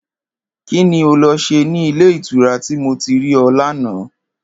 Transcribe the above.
Kí ni o lo̩ s̩e ní ilé ìtura tí mo ti rí o̩ lánàá?